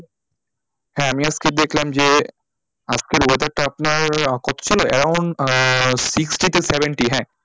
হ্যাঁ আমি আজকে দেখলাম যে আজকের weather টা আপনার কতো ছিল around আহ sixteen কি seventeen হ্যাঁ,